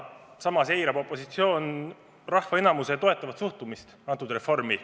Samas eirab opositsioon rahva enamuse toetavat suhtumist antud reformi.